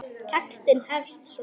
Textinn hefst svona